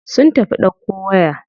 Sun tafi ɗauko waya.